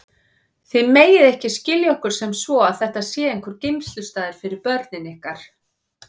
Þið megið ekki skilja okkur sem svo að þetta sé einhver geymslustaður fyrir börnin ykkar.